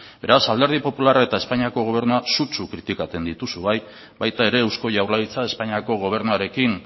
beraz alderdi popularra eta espainiako gobernua sutsu kritikatzen dituzu bai baita ere eusko jaurlaritza espainiako gobernuarekin